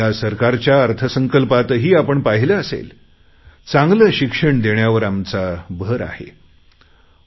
या सरकारच्या अर्थसंकल्पातही आपण पाहिले असेल चांगले शिक्षण देण्यावर भर देण्याचा प्रयत्न केला गेला आहे